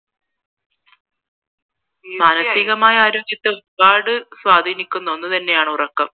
മാനസികമായ ആരോഗ്യത്തെ ഒരുപാട് സ്വാധീനിക്കുന്ന ഒന്നു തന്നെയാണ് ഉറക്കം